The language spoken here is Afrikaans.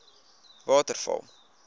waterval